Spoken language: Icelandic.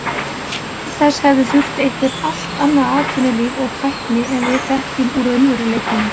Til þess hefði þurft eitthvert allt annað atvinnulíf og tækni en við þekkjum úr raunveruleikanum.